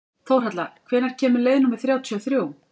Þórhalla, hvenær kemur leið númer þrjátíu og þrjú?